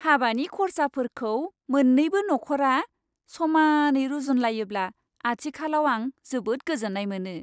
हाबानि खरसाफोरखौ मोन्नैबो नख'रा समानै रुजुनलायोब्ला आथिखालाव आं जोबोद गोजोन्नाय मोनो।